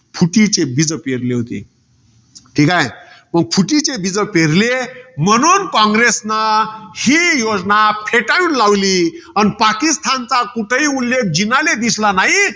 फुटीचे बीज पेरले होते. ठीकाय. फुटीचे बीज पेरले म्हणून कॉंग्रेसन ही योजना फेटाळून लावली. आणि पाकिस्तानचा कुठेही उल्लेख जिनाला दिसला न्हाई.